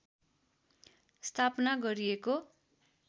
स्थापना गरिएको